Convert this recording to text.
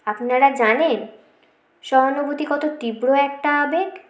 আপনারা জানেন সহানুভূতি কত তীব্র একটা আবেগ